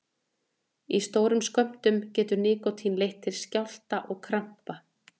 Í stórum skömmtum getur nikótín leitt til skjálfta og krampa.